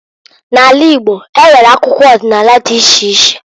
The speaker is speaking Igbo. N'ala Igbo enwere akụkọ ọdịnala dị iche iche.